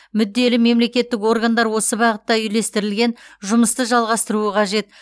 мүдделі мемлекеттік органдар осы бағытта үйлестірілген жұмысты жалғастыруы қажет